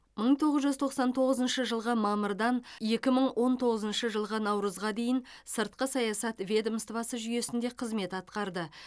мың тоғыз жүз тоқсан тоғызыншы жылғы мамырдан екі мың он тоғызыншы жылғы наурызға дейін сыртқы саясат ведомствосы жүйесінде қызмет атқарды